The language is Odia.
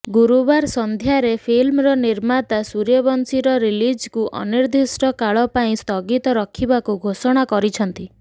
ଗୁରୁବାର ସନ୍ଧ୍ୟାରେ ଫିଲ୍ମର ନିର୍ମାତା ସୂର୍ଯ୍ୟବଂଶୀର ରିଲିଜକୁ ଅନିର୍ଦ୍ଦିଷ୍ଟ କାଳ ପାଇଁ ସ୍ଥଗିତ ରଖିବାକୁ ଘୋଷଣା କରିଛନ୍ତି